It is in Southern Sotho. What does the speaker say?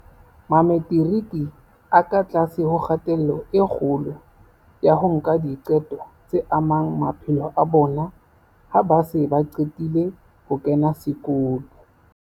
Mametiriki a ka tlase ho kgatello e kgolo ya ho nka diqeto tse amang maphelo a bona ha ba se ba qetile ho kena sekolo.